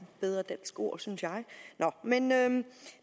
bedre dansk ord synes jeg nå men